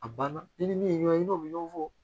A banna i ni min ye ɲɔgɔn ye n'o bɛ ɲɔgɔn fɔ